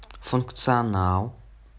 функционал